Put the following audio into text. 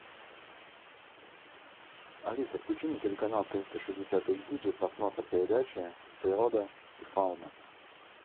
алиса включи мне телеканал триста шестьдесят эйч ди для просмотра передачи природа и фауна